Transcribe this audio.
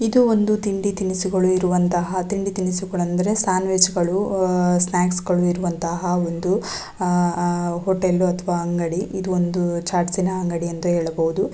ಇದು ಒಂದು ತಿಂಡಿ ತಿನಿಸುಗಳು ಇರುವಂತಹ ತಿಂಡಿ ತಿನಿಸುಗಳು ಅಂದರೆ ಸ್ಯಾಂಡ್ವಿಚ್ ಗಳು ಆಹ್ಹ್ ಸನ್ಯಾಕ್ಸ್ ಗಳು ಇರುವಂತಹ ಒಂದು ಆಹ್ಹ್ ಆಹ್ಹ್ ಹೋಟೆಲು ಅಥವಾ ಅಂಗಡಿ ಇದು ಒಂದು ಚಾಟ್ಸ್ ನ ಅಂಗಡಿ ಅಂದು ಹೇಳಬಹುದು.